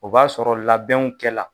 O b'a sɔrɔ labɛnw kɛ la